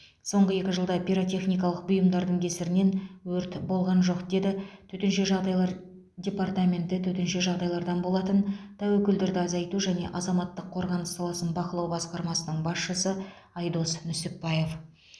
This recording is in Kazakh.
соңғы екі жылда пиротехникалық бұйымдардың кесірінен өрт болған жоқ деді төтенше жағдайлар департаменті төтенше жағдайлардан болатын тәуекелдерді азайту және азаматтық қорғаныс саласын бақылау басқармасының басшысы айдос нүсіпбаев